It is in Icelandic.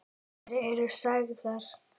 Þær eru sagðar.